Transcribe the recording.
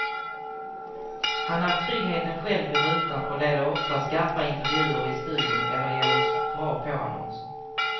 Han är tryggheten själv i rutan och leder ofta skarpa intervjuer i studion eller ger oss bra påannonser.